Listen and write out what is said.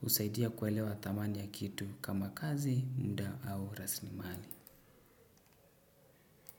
Husaidia kuelewa thamani ya kitu kama kazi, muda au rasilimali.